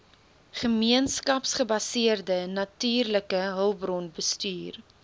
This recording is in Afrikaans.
gemeenskapsgebaseerde natuurlike hulpbronbestuur